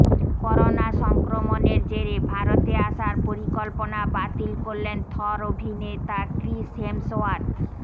corona সংক্রমনের জেরে ভারতে আসার পরিকল্পনা বাতিল করলেন থর অভিনেতা ক্রিস হেমসওয়ার্থ